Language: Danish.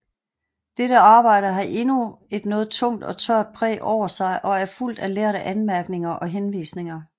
Dette arbejde har endnu et noget tungt og tørt præg over sig og er fuldt af lærde anmærkninger og henvisninger